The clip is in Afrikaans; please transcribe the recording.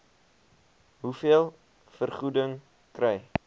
hoeveel vergoeding kry